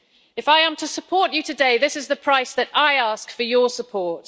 If I am to support you today this is the price that I ask for your support.